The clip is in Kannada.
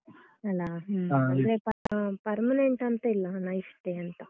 ಅಲಾ ಅಂದ್ರೆ ಅಹ್ permanent ಅಂತ ಇಲ್ಲ ಹಣ ಇಷ್ಟೇಂತ?